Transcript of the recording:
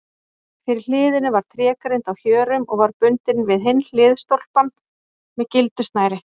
Fyrir hliðinu var trégrind á hjörum og var bundin við hinn hliðstólpann með gildu snæri.